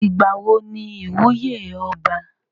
Ìgbàwo ní ìwúyè ọba?